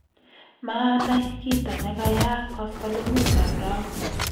maanai kito nekeyaak koskolengutab rauni